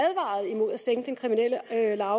sænke den kriminelle lavalder